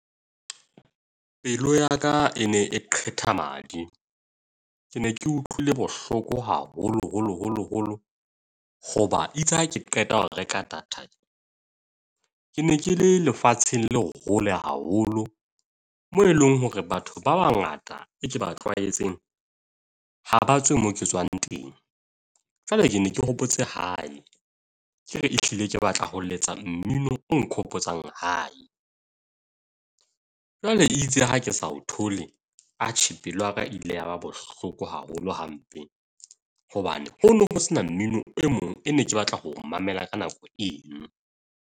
Pelo ya ka e ne e qeta madi. Ke ne ke utlwile bohloko haholo holo holo holo, hoba itse ha ke qeta ho reka data ke ne ke le lefatsheng le hole haholo moo eleng hore batho ba bangata e ke ba tlwaetseng ha ba tswe mo ke tswang teng. Jwale ke ne ke hopotse hae ke re ehlile ke batla ho letsa mmino o nkgopotsang hae. Jwale itse ha ke sa o thole, atjhe pelo ya ka ile ya ba bohloko haholo hampe hobane ho no ho sena mmino o mong e ne ke batla ho mamela ka nako eng? .